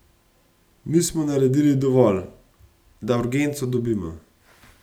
Mi smo naredili dovolj, da urgenco dobimo.